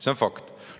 See on fakt.